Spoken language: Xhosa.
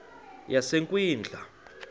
yasekwindla